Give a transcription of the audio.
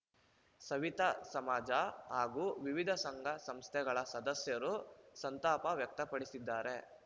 ಸವಿತಾ ಸಮಾಜ ಹಾಗೂ ವಿವಿಧ ಸಂಘ ಸಂಸ್ಥೆಗಳ ಸದಸ್ಯರು ಸಂತಾಪ ವ್ಯಕ್ತಪಡಿಸಿದ್ದಾರೆ